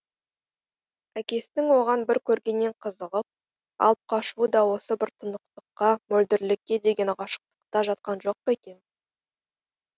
әкесінің оған бір көргеннен қызығып алып қашуы да осы бір тұнықтыққа мөлдірлікке деген ғашықтықта жатқан жоқ па екен